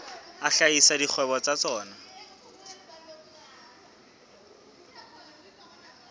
a hlahisa dikgwebo tsa tsona